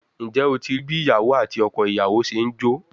Njẹ o rii bi iyawo ati ọkọ iyawo ṣe n jo?